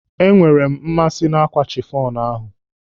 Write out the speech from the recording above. I enweere m mmasị n'ákwà chifọn ahụ.